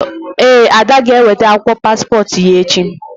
Ee, Ada g'enwete akwụkwọ paspọtụ ya echi